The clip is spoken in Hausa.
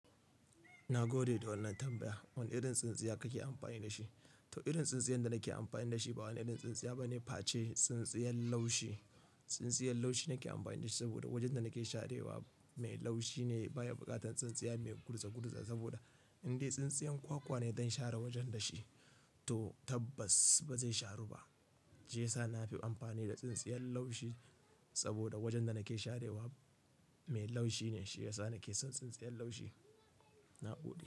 Na gode da wannan tambaya. Wane irin tsintsiya kake amfani da shi? To irin tsintsiyar da nake amfani da shi ba wani irin tsintsiya ba ne face tsintsiyar laushi. Tsintsiyar laushi nake amfani da shi saboda wajen da nake sharewa mai laushi ne baya buƙatar tsintsiya mai kurza kurza saboda in dai tsintsiyar kwakwa ne zan share wajen da shi to tabbas ba zai sharu ba. Shi yasa na fi amfani da tsintsiyar laushi saboda wajen da nake sharewa mai laushi ne shi yasa nake son tsintsiyar laushi. Na gode.